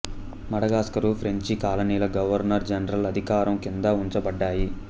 Madagascar French కాలనీల governor general అధికారం కింద ఉంచబడ్డాయి